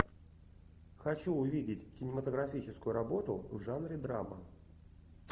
хочу увидеть кинематографическую работу в жанре драма